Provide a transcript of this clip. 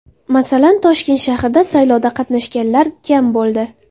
Masalan, Toshkent shahrida saylovda qatnashganlar kam bo‘ldi.